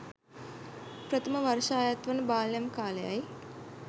ප්‍රථම වර්ෂඅයත් වන බාල්යම් කාලයයි.